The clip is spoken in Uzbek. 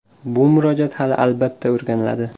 Bu murojaat hali, albatta, o‘rganiladi.